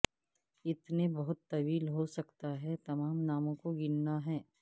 اتنے بہت طویل ہو سکتا ہے تمام ناموں کو گننا ہیں